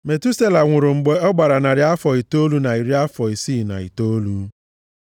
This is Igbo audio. Metusela nwụrụ mgbe ọ gbara narị afọ itoolu na iri afọ isii na itoolu.